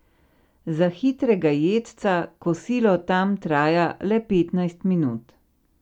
Za hitrega jedca kosilo tam traja le petnajst minut.